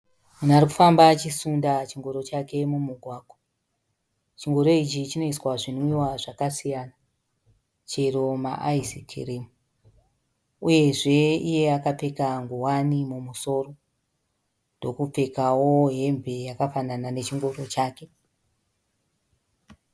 Munhu arikufamba achisunda chingoro chake mumugwagwa. Chingoro ichi chinoiswa zvinwiwa zvakasiyana, chero maaizi kirimu. Uyezve iye akapfeka nguwani mumusoro. Ndokupfekawo hembe yakafanana nechingoro chake.